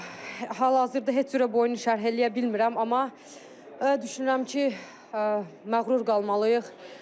Hal-hazırda heç cürə boyunu şərh eləyə bilmirəm, amma düşünürəm ki, məğrur qalmalıyıq.